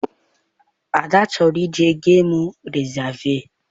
Ada chọrọ ije gemu rịzaavụ.